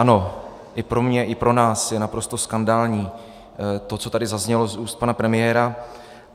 Ano, i pro mě, i pro nás je naprosto skandální to, co tady zaznělo z úst pana premiéra.